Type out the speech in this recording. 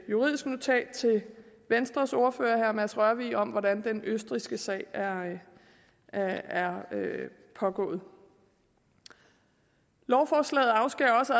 juridisk notat til venstres ordfører herre mads rørvig om hvordan den østrigske sag er er pågået lovforslaget afskærer også